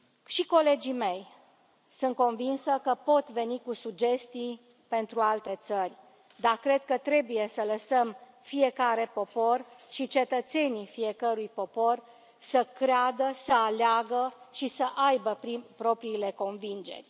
Și colegii mei, sunt convinsă că pot veni cu sugestii pentru alte țări, dar cred că trebuie să lăsăm fiecare popor și cetățenii fiecărui popor să creadă, să aleagă și să aibă propriile convingeri.